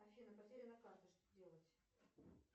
афина потеряна карта что делать